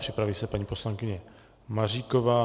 Připraví se paní poslankyně Maříková.